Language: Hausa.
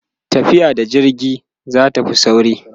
tafiya da jirgi zatafi sauri